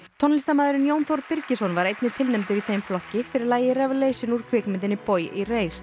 tónlistarmaðurinn Jón Þór Birgisson var einnig tilnefndur í þeim flokki fyrir lagið Revelation úr kvikmyndinni Boy